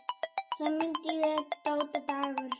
Þá mundi ég: Dóta Dagur.